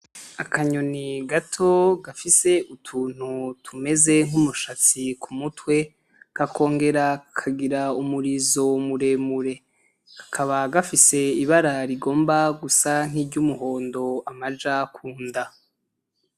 Akanyoni gato gafise utuntu tumeze nk'umushatsi ku mutwe kakongera kakagira umurizo muremure, kakaba gafise ibara rigomba gusa nkiry'umuhondo amaja kunda.